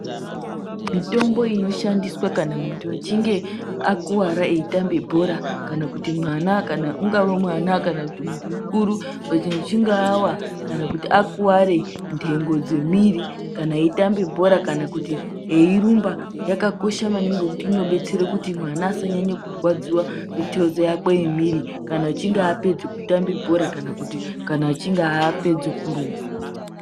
Mitombo inoshandiswaa kana munhu echinge akuwara eitambe bhora kana kuti mwana ,kana ungawe mwana kana munhu mukuru kana acheinge awa kana kuti akuware nhengo dzemwiri kana eitambe bhora kana kuti eirumba yakakosha maningi ngekuti inobetsere kuti mwana asanyanye kurwadziwa mitezo yakwe yemwiri kana achinge apedza kutambe bhora kana echinge apedza kurumba.